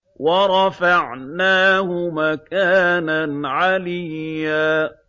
وَرَفَعْنَاهُ مَكَانًا عَلِيًّا